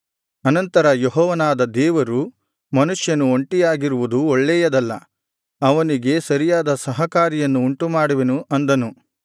ಅನಂತರ ಯೆಹೋವನಾದ ದೇವರು ಮನುಷ್ಯನು ಒಂಟಿಯಾಗಿರುವುದು ಒಳ್ಳೆಯದಲ್ಲ ಅವನಿಗೆ ಸರಿಯಾದ ಸಹಕಾರಿಯನ್ನು ಉಂಟುಮಾಡುವೆನು ಅಂದನು